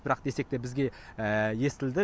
бірақ десек те бізге естілді